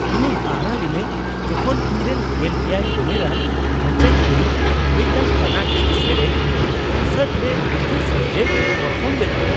ᱤᱧᱤᱧ ᱦᱟᱦᱟᱲᱟᱜ ᱞᱤᱱᱟᱹᱧ ᱡᱚᱠᱷᱚᱱ ᱤᱧᱨᱮᱱ ᱑᱗ ᱩᱢᱮᱨᱟᱱ ᱵᱷᱟᱹᱪᱟᱹᱧ ᱠᱩᱲᱤ ᱢᱤᱫᱴᱟᱝ ᱠᱚᱨᱱᱟᱴᱚᱠᱤ ᱥᱮᱨᱮᱧ ᱠᱚᱱᱥᱟᱨᱴ ᱨᱮ ᱱᱤᱠᱷᱩᱴ ᱥᱟᱹᱦᱤᱡᱮ ᱯᱟᱨᱯᱷᱚᱨᱢ ᱞᱮᱫᱟ ᱾